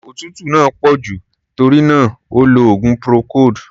Òtútú náà pọ̀ jù, tórí náà, ó lo oògùn procold.